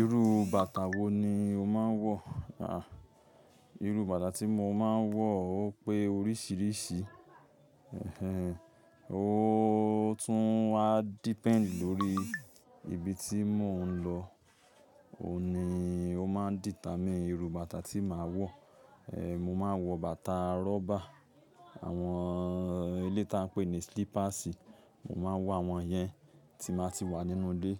Irú bàtà wo ni o máa ń wọ̀? Àh, irú bàtà tí mo máa ń wọ̀ ó pé oríṣiríṣi. Ẹ̀hehn, ó tún á depend lórí ibi tí mò ń lọ. Óhun ni ó máa ń dìtà mí irú bàtà tí màá wọ̀. Ehn, mo máa ń wọ bàtà rọ́bà. Àwọn eléyi tá a ń pè ní silipasi, mo máa ń wọ àwọn yẹn tí n bá ti wà nínú ilé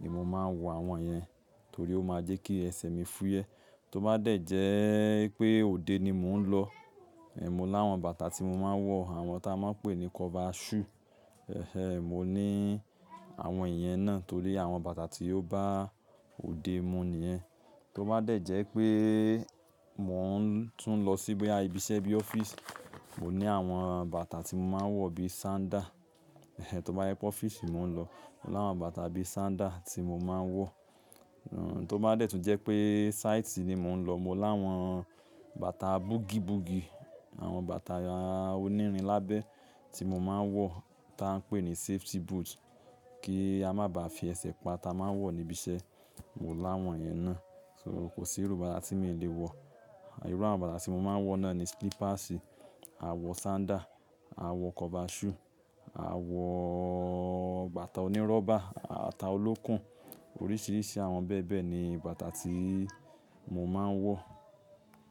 ni mo máa ń wọ àwọn yẹn torí ó máa jẹ́ kí ẹsẹ̀ mi fúyẹ́. Tó bá dẹ́ jẹ́ pé òde ni mò ń lọ, eh, mo láwọn bàtà tí mo máa ń wọ̀, àwọn tá a máa ń pè ní kọ́fà shù. Ehehn, mo ní àwọn ìyẹn náà torí àwọn bàtà tí ó bá òde mu nìyẹn. Tó bá dẹ́ jẹ́ pé mò ń tún lọ sí boya ibi iṣẹ́ bí ọ́fíìsì, mo ní àwọn bàtà tí mo máa ń wọ̀ bí sándà. Ehn, tó bá wí pé ọ́fíìsì ni mò ń lọ, mo ni áwọn bàtà bí sándà tí mo máa ń wọ̀. Ehn, tó bá dẹ́ tún jẹ́ pé sáìtì ni mò ń lọ, mo láwọn bàtà bugìbugì, àwọn bàtà onírin lábẹ́ tí mo máa ń wọ̀ tá a ń pè ní safety boot kí a má bá fi ẹsẹ̀ pa tá a máa ń wọ̀ níbi iṣẹ́, mo láwọn yẹn náà. So kò sí irú bàtà tí mi ò le wọ̀. Àh, irú àwọn bàtà tí mo máa ń wọ̀ náà ni slippers, a wọ sándà, a wọ kọ́fà shù, a wọ bàtà oníróbà, bàtà olókùn. Oríṣiríṣi àwọn bẹ́ẹ̀ bẹ́ẹ̀ ni bàtà tí mo máa ń wọ̀